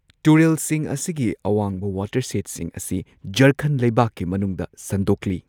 ꯇꯨꯔꯦꯜꯁꯤꯡ ꯑꯁꯤꯒꯤ ꯑꯋꯥꯡꯕ ꯋꯥꯇꯔꯁꯦꯗꯁꯤꯡ ꯑꯁꯤ ꯓꯥꯔꯈꯟꯗ ꯂꯩꯕꯥꯛꯀꯤ ꯃꯅꯨꯡꯗ ꯁꯟꯗꯣꯛꯂꯤ꯫